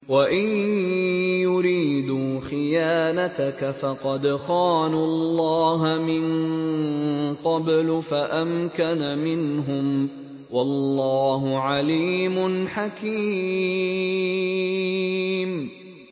وَإِن يُرِيدُوا خِيَانَتَكَ فَقَدْ خَانُوا اللَّهَ مِن قَبْلُ فَأَمْكَنَ مِنْهُمْ ۗ وَاللَّهُ عَلِيمٌ حَكِيمٌ